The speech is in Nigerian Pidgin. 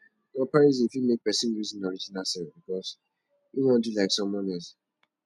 comparison fit make person lose im original self because im wan do like someone else